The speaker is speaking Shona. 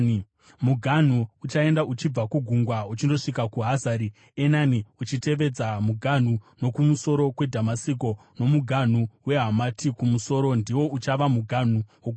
Muganhu uchaenda uchibva kugungwa uchindosvika kuHazari Enani, uchitevedza muganhu nokumusoro kweDhamasiko, nomuganhu weHamati kumusoro. Ndiwo uchava muganhu wokumusoro.